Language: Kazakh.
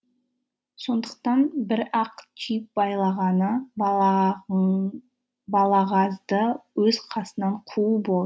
сондықтан бір ақ түйіп байлағаны балағазды өз қасынан қуу